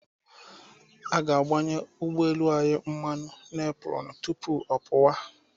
Our ga-agbanye ụgbọelu anyị mmanụ n'epurọnụ tupu ọ pụwa.